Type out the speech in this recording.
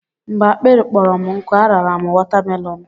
Mgbe akpịrị kpọrọ m nkụ, a rara m wọtamelọn.